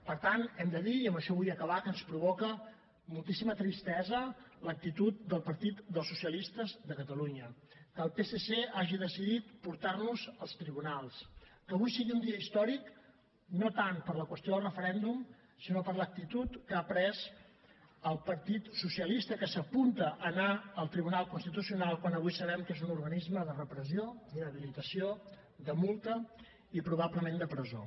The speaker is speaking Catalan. per tant hem de dir i amb això vull acabar que ens provoca moltíssima tristesa l’actitud del partit dels socialistes de catalunya que el psc hagi decidit portar nos als tribunals que avui sigui un dia històric no tant per la qüestió del referèndum sinó per l’actitud que ha pres el partit socialista que s’apunta a anar al tribunal constitucional quan avui sabem que és un organisme de repressió d’inhabilitació de multa i probablement de presó